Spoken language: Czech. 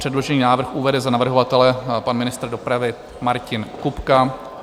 Předložený návrh uvede za navrhovatele pan ministr dopravy Martin Kupka.